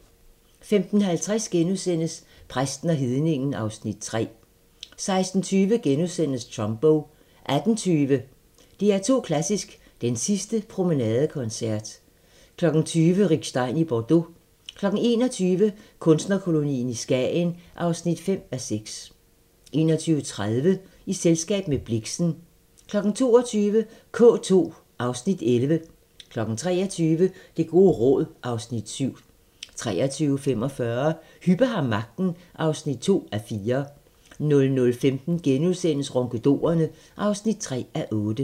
15:50: Præsten og hedningen (Afs. 3)* 16:20: Trumbo * 18:20: DR2 Klassisk: Den sidste promenadekoncert 20:00: Rick Stein i Bordeaux 21:00: Kunstnerkolonien i Skagen (5:6) 21:30: I selskab med Blixen 22:00: K2 (Afs. 11) 23:00: Det gode råd (Afs. 7) 23:45: Hübbe har magten (2:4) 00:15: Ronkedorerne (3:8)*